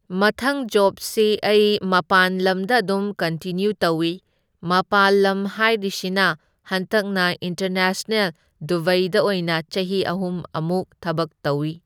ꯃꯊꯪ ꯖꯣꯞꯁꯤ ꯑꯩ ꯃꯄꯥꯟ ꯂꯝꯗ ꯑꯗꯨꯝ ꯀꯟꯇꯤꯅ꯭ꯌꯨ ꯇꯧꯢ, ꯃꯄꯥꯜ ꯂꯝ ꯍꯥꯏꯔꯤꯁꯤꯅ ꯍꯟꯗꯛꯅ ꯏꯟꯇꯔꯅꯦꯁꯅꯦꯜ ꯗꯨꯕꯩꯗ ꯑꯣꯏꯅ ꯆꯍꯤ ꯑꯍꯨꯝ ꯑꯃꯨꯛ ꯊꯕꯛ ꯇꯧꯢ꯫